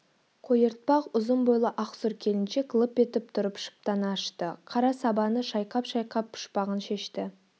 қойыртпақ ұзын бойлы ақ сұр келіншек лып етіп тұрып шыптаны ашты қара сабаны шайқап-шайқап пұшпағын шешті